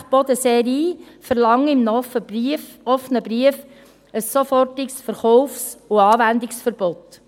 Die Wasserwerke Bodensee-Rhein verlangen in einem offenen Brief ein sofortiges Verkaufs- und Anwendungsverbot.